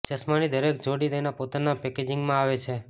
ચશ્માની દરેક જોડી તેના પોતાના પેકેજિંગમાં આવે છે